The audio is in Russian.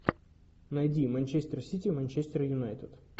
найди манчестер сити манчестер юнайтед